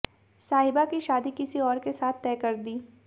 साहिबा की शादी किसी और के साथ तय कर दी